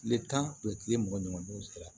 Tile tan tile mugan ɲɔgɔn don sera